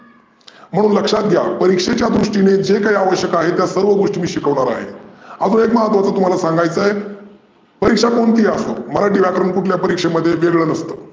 म्हाणून लक्षात घ्या परिक्षेच्या दृष्टीने जे काही आवश्यक आहे त्या सर्व गोष्टी मी शिकवनार आहे. आजून एक महत्वाच तुम्हाला सांगायचं आहे. परिक्षा कोणती ही असो मराठी व्याकरण कुठल्या परिक्षेमध्ये वेगळ नसतं.